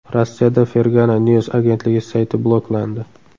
Rossiyada Fergana News agentligi sayti bloklandi.